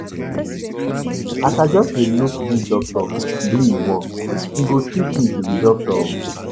As I just dey look dis doctor do im work, e go sweet me to be doctor o.